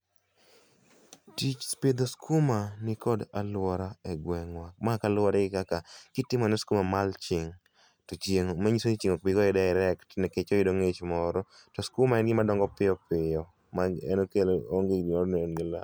Tich pidho skuma nikod aluora e gwengwa, ma kaluore gi kaka kitimo ne skuma mulching to chieng',manyisoni chieng' okbi goye direct nikech oyudo ngich moro to skuma en gima dongo piyo piyo ma en okelo